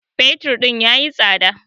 fetur din ya yi tsada